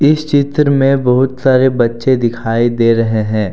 इस चित्र में बहुत सारे बच्चे दिखाई दे रहे हैं।